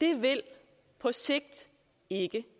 det vil på sigt ikke